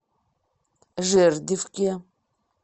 жердевке